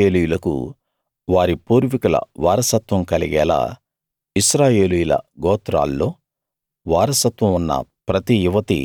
ఇశ్రాయేలీయులకు వారి పూర్వీకుల వారసత్వం కలిగేలా ఇశ్రాయేలీయుల గోత్రాల్లో వారసత్వం ఉన్న ప్రతి యువతీ